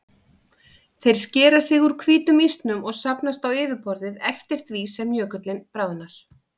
Þeir skera sig úr hvítum ísnum og safnast á yfirborðið eftir því sem jökullinn bráðnar.